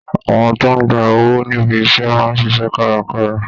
Àwọn tó ń ń gba owó níbi iṣẹ́ máa ń ṣiṣẹ́ kárakára